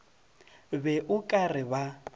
be o ka re ba